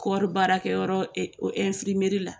Kɔɔri baarakɛyɔrɔ la.